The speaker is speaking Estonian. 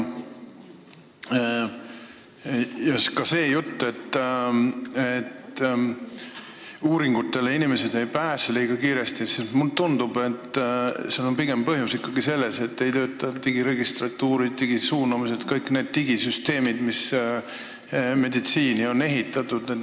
Ja see jutt, et inimesed ei pääse küllalt kiiresti uuringutele – mulle tundub, et põhjus on pigem selles, et ei tööta digiregistratuurid, digisuunamised, üldse kõik need digisüsteemid, mis meditsiinis on olemas.